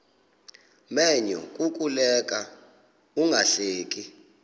menyo kukuleka ungahleki